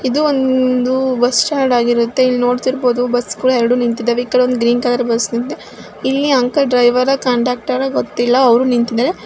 ಇದು ಒಂದು bus stand ಆಗಿರುತ್ತೆ ಇಲ್ಲಿ ನೋಡತ್ತಿರಬಹುದು ಬಸ್ಗಳು ಎರಡು ನಿಂತಿದವೆ ಈ ಕಡೆ ಒಂದು ಗ್ರೀನ್ ಕಲರ್ ಬಸ್ ಇಲ್ಲಿ ಅಂಕಲ್ ಡ್ರೈವರ್ ಅಥವಾ ಕಂಡಕ್ಟರ್ ಗೊತ್ತಿಲ್ಲಾ ಅವ್ರು ನಿಂತಿದ್ದಾರೆ --